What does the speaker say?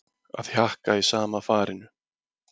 Að hjakka í sama farinu